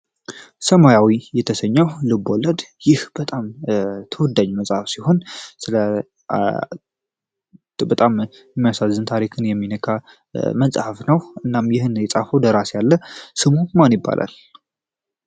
ሰማያዊ የተሰኘው ልብወለድ ይህ ልብወለድ በጣም ተወዳጅ መጽሐፍ ሲሆን በጣም የሚያሳዝን ታሪክ ልብን የሚነካ መጽሐፍ ነው። እና ይህን መጽሐፍ የፃፈው ደራሲ አለ ስሙ ማን ይባላል?